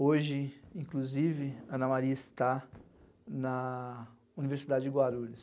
Hoje, inclusive, Ana Maria está na Universidade de Guarulhos.